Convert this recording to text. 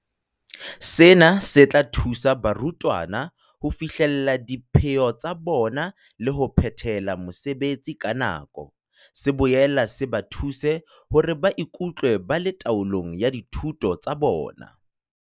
Sena se tla thusa barutwana ho fihlella dipheo tsa bona le ho phethela mosebetsi ka nako, se boele se ba thuse hore ba ikutlwe ba le taolong ya dithuto tsa bona.